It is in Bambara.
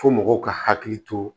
Fo mɔgɔw ka hakili to